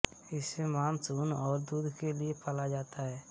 इसे मांस ऊन और दूध के लिए पाला जाता है